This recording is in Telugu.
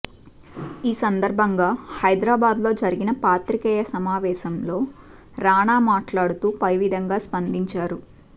ఈ సందర్భంగా హైదరాబాద్లో జరిగిన పాత్రికేయ సమావేశంలో రానా మాట్లాడుతూ పైవిధంగా స్పందించారు